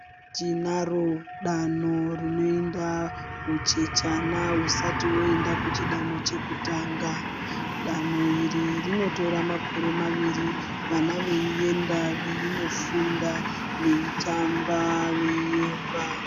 Tinaro danho rinoenda huchechana husati hwoenda kuchidanho chekutanga. Danho iri rinotora makore maviri vana veienda veindofunda veitamba veiyemba.